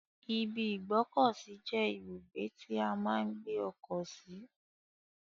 ibi ìgbọ́kọ̀sí je ibugbe ti a maa n gbe oko si.